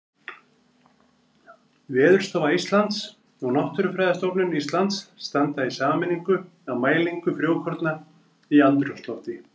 Veðurstofa Íslands og Náttúrufræðistofnun Íslands standa í sameiningu að mælingu frjókorna í andrúmslofti.